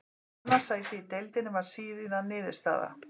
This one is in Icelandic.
Annað sæti í deildinni varð síðan niðurstaða.